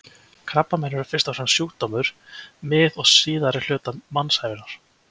Krabbamein eru fyrst og fremst sjúkdómur mið- og síðari hluta mannsævinnar.